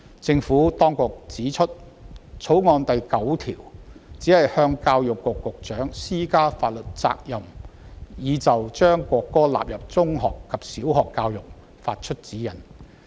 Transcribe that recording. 政府當局指出，《條例草案》第9條，只向教育局局長施加法律責任，以就將國歌納入小學及中學教育發出指示。